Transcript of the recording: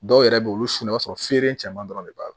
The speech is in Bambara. Dɔw yɛrɛ bɛ olu su o b'a sɔrɔ feere caman dɔrɔn de b'a la